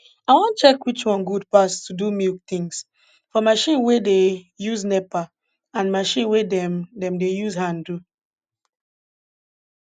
i wan check which one good pass to do milk tins for marchin wey dey use nepa and marchin wey dem dem dey use hand do